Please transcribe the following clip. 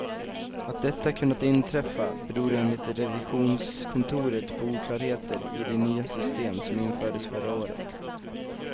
Att detta kunnat inträffa beror enligt revisionskontoret på oklarheter i de nya system som infördes förra året.